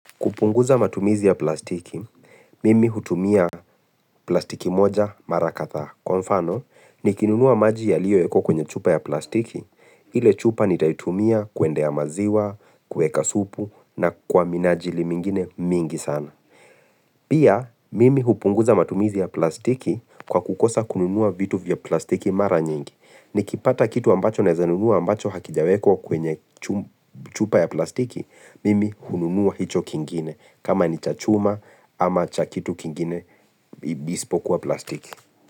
Kupunguza matumizi ya plastiki, mimi hutumia plastiki moja mara kadhaa. Kwa mfano, nikinunua maji yaliyoekwa kwenye chupa ya plastiki, ile chupa nitaitumia kuendea maziwa, kueka supu, na kwa minajili mingine mingi sana. Pia, mimi hupunguza matumizi ya plastiki kwa kukosa kununua vitu vya plastiki mara nyingi. Nikipata kitu ambacho naeza nunua ambacho hakijawekwa kwenye chupa ya plastiki, mimi hununua hicho kingine. Kama ni cha chuma ama cha kitu kingine isipokuwa plastiki.